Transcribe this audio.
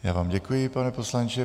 Já vám děkuji, pane poslanče.